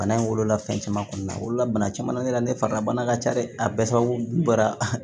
Bana in wolola fɛn caman kɔni na wolola bana caman ne la ne fari ka bana ka ca dɛ a bɛɛ sababu bɔra